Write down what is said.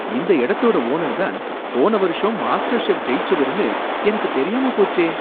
இந்த இடத்தோட ஓனர் தான் போன வருஷம் மாஸ்டர் செஃப் ஜெயிச்சவருன்னு எனக்கு தெரியாம போச்சே!